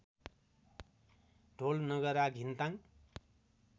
ढोल नगरा घिन्ताङ्ग